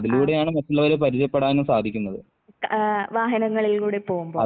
ആഹ് ആഹ് വാഹങ്ങളിലൂടെ പോകുമ്പോൾ.